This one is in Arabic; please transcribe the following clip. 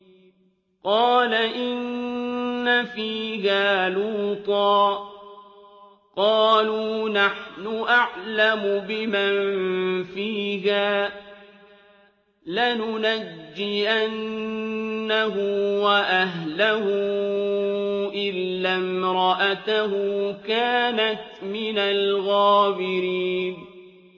قَالَ إِنَّ فِيهَا لُوطًا ۚ قَالُوا نَحْنُ أَعْلَمُ بِمَن فِيهَا ۖ لَنُنَجِّيَنَّهُ وَأَهْلَهُ إِلَّا امْرَأَتَهُ كَانَتْ مِنَ الْغَابِرِينَ